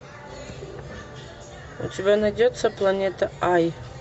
у тебя найдется планета ай